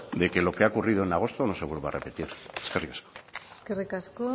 de que lo que ha ocurrido en agosto no se vuelva a repetir eskerrik asko